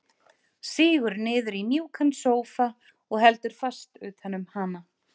Sígur niður í mjúkan sófa og heldur fast utan um hana.